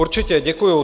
Určitě, děkuju.